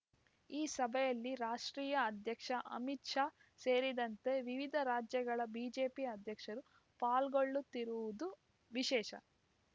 ಈ ಸಭೆಯಲ್ಲಿ ರಾಷ್ಟ್ರೀಯ ಅಧ್ಯಕ್ಷ ಅಮಿತ್ ಶಾ ಸೇರಿದಂತೆ ವಿವಿಧ ರಾಜ್ಯಗಳ ಬಿಜೆಪಿ ಅಧ್ಯಕ್ಷರು ಪಾಲ್ಗೊಳ್ಳುತ್ತಿರುವುದು ವಿಶೇಷ